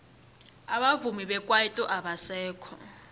abavumi bekwaito abasekho